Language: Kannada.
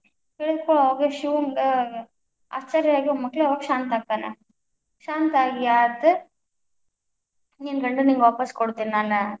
ಹೇಳಿದ್ ಕೂಡ್ಲೇ ಅವಂಗ ಶಿವಂಗ ಆಶ್ಚರ್ಯ ಆಗಿ ಅವಾಗ ಶಾಂತ ಆಗ್ತಾನ, ಶಾಂತ ಆಗಿ ಆತ, ನಿನ್ನ ಗಂಡ ನಿಂಗ್‌ ವಾಪಸ್ ಕೊಡ್ತೀನ್ನಾನ.